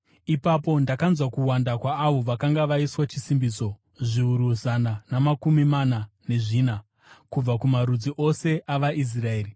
Ipapo ndakanzwa kuwanda kwaavo vakanga vaiswa chisimbiso: zviuru zana namakumi mana nezvina, kubva kumarudzi ose avaIsraeri.